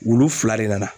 Wulu fila de nana